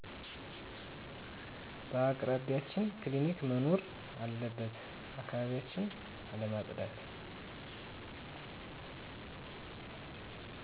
በአቅራቢችን ክሊኒክ መኖር አለበት አካባቢን አለማፀዳት